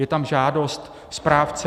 Je tam žádost správce.